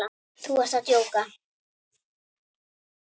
Þú ert að djóka?